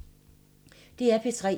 DR P3